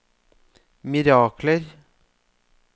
mirakler